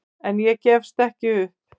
En ég gefst ekki upp.